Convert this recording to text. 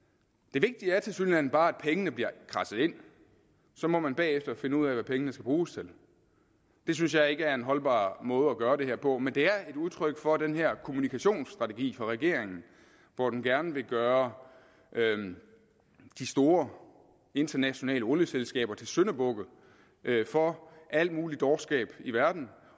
det vigtige er tilsyneladende bare at pengene bliver kradset ind så må man bagefter finde ud af hvad pengene skal bruges til det synes jeg ikke er en holdbar måde at gøre det her på men det er et udtryk for den her kommunikationsstrategi fra regeringen hvor den gerne vil gøre de store internationale olieselskaber til syndebukke for al mulig dårskab i verden